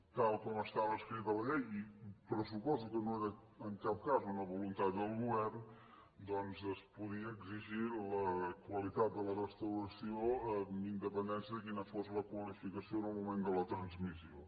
tal com estava escrit a la llei i pressuposo que no era en cap cas una voluntat del govern doncs es podia exigir la qualitat de la restauració amb indepen·dència de quina fos la qualificació en el moment de la transmissió